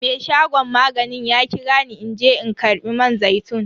Me shagon maganin ya kira ni in je in karba man zaitun.